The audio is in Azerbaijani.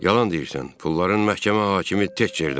Yalan deyirsən, pulların məhkəmə hakimi tək yerdədir.